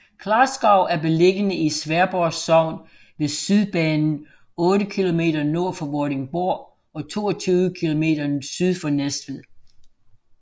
Klarskov er beliggende i Sværdborg Sogn ved Sydbanen otte kilometer nord for Vordingborg og 22 kilometer syd for Næstved